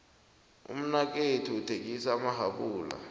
umnakethu uthengisa amahapula